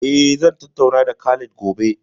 Eh zan tattauna da Khalid Gobe